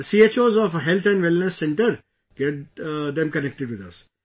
The CHOs of Health & Wellness Centres get them connected with us